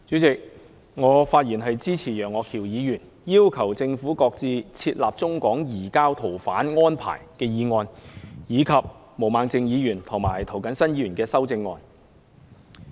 主席，我發言支持楊岳橋議員的"要求政府擱置設立中港移交逃犯安排"議案，以及毛孟靜議員和涂謹申議員的修正案。